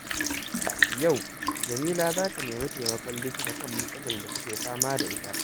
Yau, Jameela za ta nemi taimakon likita kan matsalar da take fama da ita.